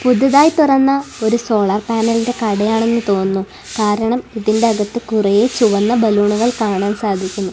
പുതുതായി തുറന്ന ഒരു സോളാർ പാനലിന്റെ കടയാണെന്നു തോന്നുന്നു കാരണം ഇതിന്റെ അകത്ത് കുറെ ചുവന്ന ബലൂണുകൾ കാണാൻ സാധിക്കുന്നു.